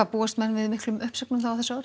búast menn við miklum uppsögnum á þessu ári